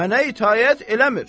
Mənə itaət eləmir.